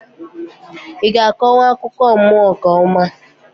I ga-akonwu akụkọ mmụọ nke ọma?